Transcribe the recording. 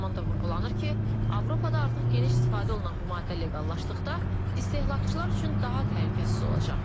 Eyni zamanda vurğulanır ki, Avropada artıq geniş istifadə olunan bu maddə leqallaşdıqda istehlakçılar üçün daha təhlükəsiz olacaq.